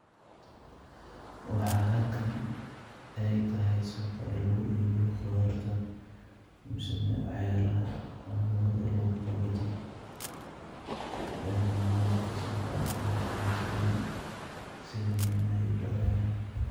Waxaa halkan aay tahay suuqa lagu iibiyo qudaarta, mise waxyaabaha amboogada lagu kala Gato, ee mamooyinka suuqa qudaartoda fadiya sidha nyanyaha iyo balaayaha.